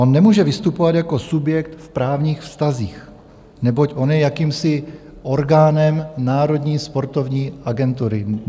On nemůže vystupovat jako subjekt v právních vztazích, neboť on je jakýmsi orgánem Národní sportovní agentury.